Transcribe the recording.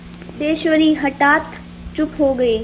सिद्धेश्वरी हठात चुप हो गई